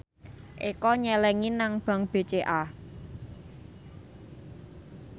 Eko nyelengi nang bank BCA